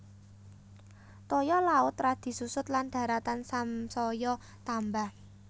Toya laut radi susut lan daratan samsaya tambah